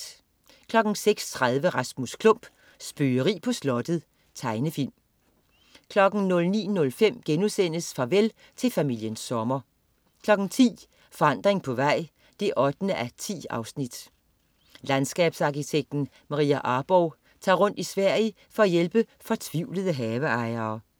06.30 Rasmus Klump. Spøgeri på slottet. Tegnefilm 09.05 Farvel til familien Sommer* 10.00 Forandring på vej 8:10. Landskabsarkitekten Maria Arborgh tager rundt i Sverige for at hjælpe fortvivlede haveejere